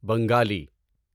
Bengali